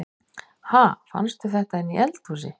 Ha! Fannstu þetta inni í eldhúsi?